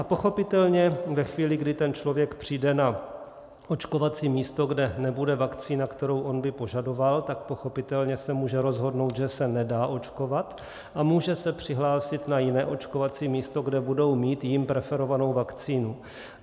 A pochopitelně ve chvíli, kdy ten člověk přijde na očkovací místo, kde nebude vakcína, kterou on by požadoval, tak pochopitelně se může rozhodnout, že se nedá očkovat, a může se přihlásit na jiné očkovací místo, kde budou mít jím preferovanou vakcínu.